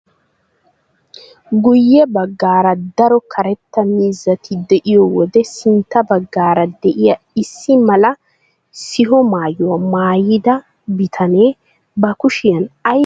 Guye baggaara daro karetta miizzati de'iyoo wode sintta baggaara de'iyaa issi mala siho maayuwaa maayida bitanee ba kushiyaan aybaa oyqqi uttidee?